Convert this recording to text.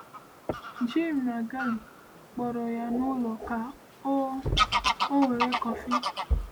Jim na Gail kpọrọ ya n’ụlọ ka ọ ọ were kọfị.